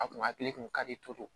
A kun hakili kun ka di